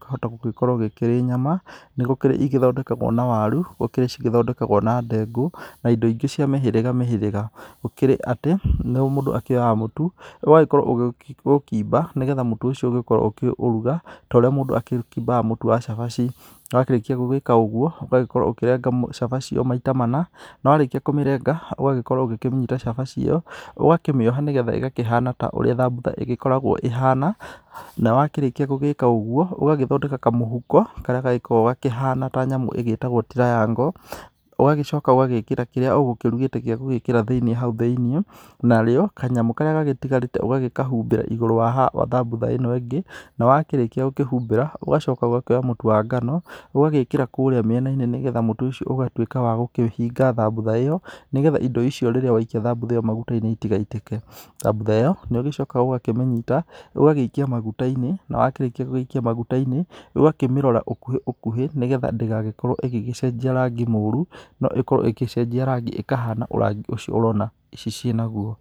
kĩhota gũkũrwo kĩrĩ nyama, nĩgũkĩrĩ ithondekagwo na waru, nĩgũkĩrĩ cithondekagwo na ndengũ na indo ingĩ cia mĩhĩrĩga mĩhĩrĩga. Gũkĩrĩ atĩa, mũndũ akĩoyaga mũtu ũgagĩkorwo ũkĩimba nĩgetha mũtu ũcio ũkorwo ũkĩũruga ũrĩa mũndũ akĩmaga mũtu wa cabaci, na wakĩrĩkia gũgĩka ũguo, ũgakorwo ũkĩrenga cabaci maita mana, na warĩkia kũmĩrenga ũgagĩkorwo ũkĩnyita cabaci ĩ yo, ũgakĩmĩoha nĩgetha ĩgakĩhana ta ũrĩa thambutha ĩgĩkoragwo ĩhana, na wakĩrĩkia gũgĩka ũguo ũgagĩthondeka kamũhuko karĩa gagĩkoragwo kahana ta nyamũ igĩtagwo triangle, ũgagĩcoka ũgagĩkĩra kĩrĩa ũrũgĩte gĩa gũĩkĩra thĩiniĩ hau thĩiniĩ, na rĩo kanyamũ karĩa gatigarĩte ũgagĩkahumbĩra igũrũ wa thambutha ĩ no ingĩ na wakĩrĩkia gũkĩhumbĩra ũgacoka ũgakĩoya mũtu wa ngano ũgagĩkĩra kũrĩa mwena-inĩ nĩgetha mũtu ũcio ũgatuĩka wa kũhinga thambutha ĩyo nĩgetha indo icio rĩrĩa waikia thambutha ĩ yo maguta-inĩ itigaitĩke. Thambutha ĩ yo nĩũgĩcokaga ũgakĩmĩnyita, ũgagĩikia maguta-inĩ, na wakĩrĩkia gũikia maguta-inĩ, ũgakĩmĩrora ũkũhĩ ũkũhĩ nĩgetha ndĩgagĩkorwo ĩgĩcenjia rangi mũru, no ĩkorwo ĩgĩcenjia rangi ĩkahana rangi ũcio ũrona ici ciĩnaguo.